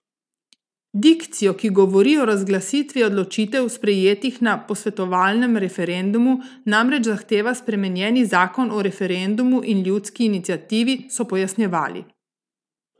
Dikcijo, ki govori o razglasitvi odločitev, sprejetih na posvetovalnem referendumu, namreč zahteva spremenjeni zakon o referendumu in ljudski iniciativi, so pojasnjevali.